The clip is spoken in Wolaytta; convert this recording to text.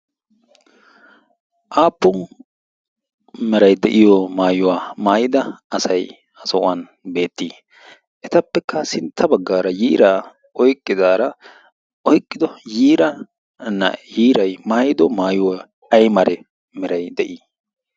aappun meray de'iyo maayuwaa maayida asay ha sohuwan beettii etappekka sintta baggaara yiiraa oiqqidaara oyqqido yiira na yiirai maayido maayuwaa ay mare meray de'ii